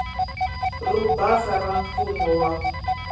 ro basa ra mfumo wa